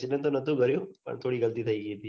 accident તો ન તુ થયું પર થોડી ગલતી થઇ ગઈ હતી